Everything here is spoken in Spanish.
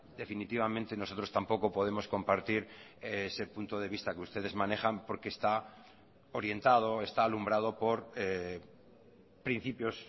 definitivamente nosotros tampoco podemos compartir ese punto de vista que ustedes manejan porque está orientado está alumbrado por principios